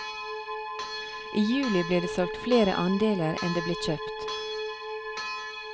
I juli ble det solgt flere andeler enn det ble kjøpt.